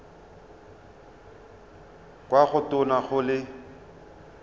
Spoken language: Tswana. kwa go tona go le